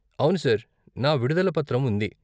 అవును సార్. నా విడుదల పత్రం ఉంది.